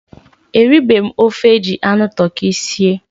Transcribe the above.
Eribeghi m ofe eji anụ tụrkị sie